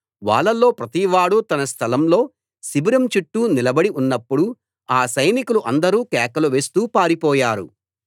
వాళ్లలో ప్రతివాడూ తన స్థలం లో శిబిరం చుట్టూ నిలబడి ఉన్నప్పుడు ఆ సైనికులు అందరూ కేకలు వేస్తూ పారిపోయారు